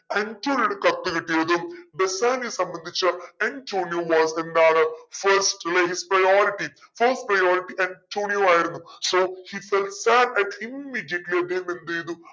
ആൻറ്റോണിയുടെ കത്ത് കിട്ടിയതും ബെസാനിയോയെ സംബന്ധിച്ചു ആൻറ്റോണിയുമായിട്ട് എന്താണ് first priorityfirst priority ആൻറ്റോണിയോ ആയിരുന്നു so he felts thatat immediately അദ്ദേഹം എന്തേയ്‌തു